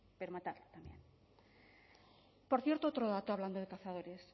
pero matarlo por cierto otro dato hablando de cazadores